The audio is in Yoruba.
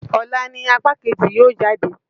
Ọ̀la ni apá kejì yóò jáde.